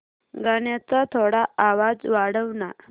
गाण्याचा थोडा आवाज वाढव ना